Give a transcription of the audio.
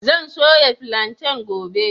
Zan soya filanten gobe.